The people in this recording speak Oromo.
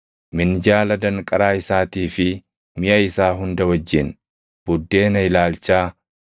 minjaala danqaraa isaatii fi miʼa isaa hunda wajjin, buddeena ilaalchaa;